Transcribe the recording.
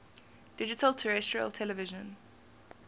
digital terrestrial television